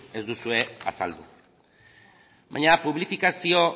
ez duzue azaldu baina publifikazio